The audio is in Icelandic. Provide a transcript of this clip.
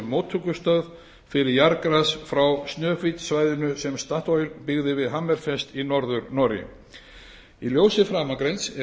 móttökustöð fyrir jarðgas frá snøhvit svæðinu sem statoil byggði við hammerfest í norður noregi í ljósi framangreinds er